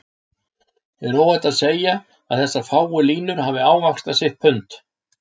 er óhætt að segja að þessar fáu línur hafi ávaxtað sitt pund.